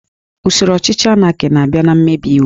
Usoro ọchịchị Anaki na-abịa na mmebi iwu